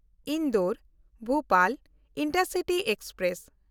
Indore-Bhopal intercity express